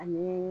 Ani